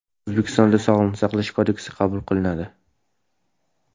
O‘zbekistonda Sog‘liqni saqlash kodeksi qabul qilinadi.